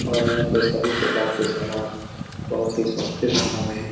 और यहाँ पे सभी प्रकार के सामान बहुत ही सस्ते दामों में --